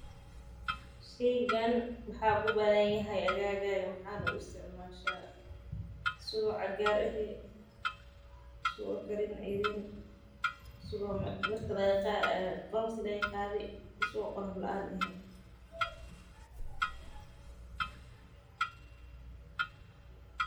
Sheygani waxuu ku badan yahay agaaga asaga oo qolofta laga qaadi asaga oo.